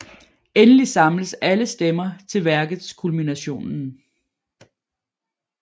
Endelig samles alle stemmer til værkets kulminationen